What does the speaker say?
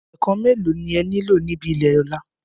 Ẹ̀ẹ̀kàn mẹ́ẹ̀ló ni e nílò níbi ilé Ọ̀la?